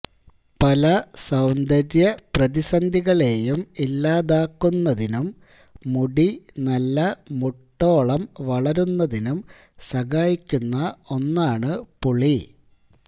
പല സൌന്ദര്യ പ്രതിസന്ധികളേയും ഇല്ലാതാക്കുന്നതിനും മുടി നല്ല മുട്ടോളം വളരുന്നതിനും സഹായിക്കുന്ന ഒന്നാണ് പുളി